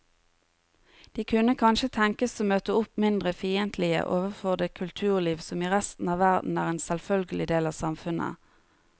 De kunne kanskje tenkes å møte opp mindre fiendtlige overfor det kulturliv som i resten av verden er en selvfølgelig del av samfunnet.